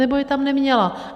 Nebo je tam neměla.